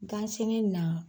Ga sene na